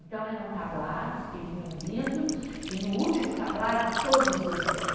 Então eram tablados que vinham vindo e no último tablado todos dançando.